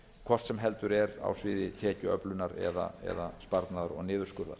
hvort heldur sem er á sviði tekjuöflunar eða sparnaðar og niðurskurðar